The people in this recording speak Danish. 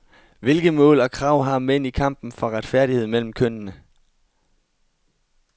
Hvilke mål og krav har mænd i kampen for retfærdighed mellem kønnene?